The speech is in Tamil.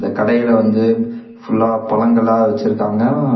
கடையில வந்து ஃபுல்லா பழங்களா வெச்சிருக்காங்க ம்ம்.